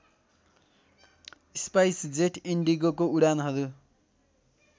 SpiceJet इन्डिगोको उडानहरू